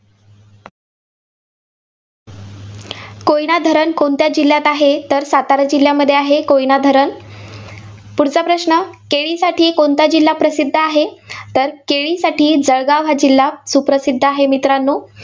कोयना धरण कोणत्या जिल्ह्यात आहे? तर सातारा जिल्ह्यामध्ये आहे कोयना धरण. पुढचा प्रश्न. केळीसाठी कोणता जिल्हा प्रसिद्ध आहे? तर, केळीसाठी जळगाव हा जिल्हा सुप्रसिद्ध आहे, मित्रांनो.